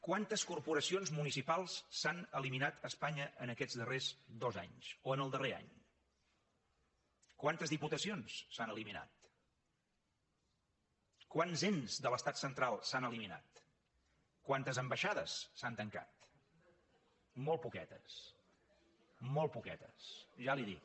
quantes corporacions municipals s’han eliminat a espanya en aquests darrers dos anys o en el darrer any quantes diputacions s’han eliminat quants ens de l’estat central s’han eliminat quantes ambaixades s’han tancat molt poquetes molt poquetes ja li ho dic